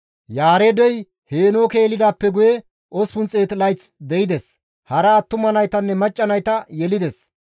Yaareedey Heenooke yelidaappe guye 800 layth de7ides; hara attuma naytanne macca nayta yelides.